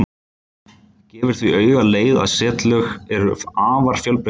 Það gefur því auga leið að setlög eru afar fjölbreytileg.